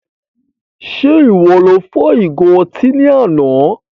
Ṣe iwọ lo fọ́ ìgo ọtí ní àna?